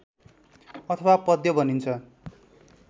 अथवा पद्य भनिन्छ